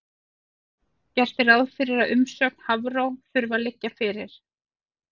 Gert er ráð fyrir að umsögn Hafró þurfi að liggja fyrir.